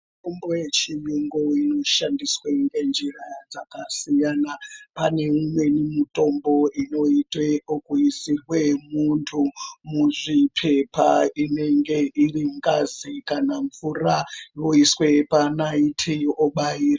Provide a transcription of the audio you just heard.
Mitombo yechiyungu inoshandiswe ngenjira dzakasiyana. Pane imweni mitombo inoitwe okuisirwe muntu muzvipepa. Inenge iri ngazi kana mvura yoiswe panaiti obai...